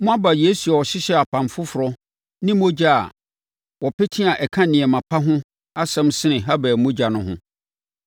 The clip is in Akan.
Moaba Yesu a ɔhyehyɛɛ apam foforɔ ne mogya a wɔapete a ɛka nneɛma pa ho asɛm sene Habel mogya no ho.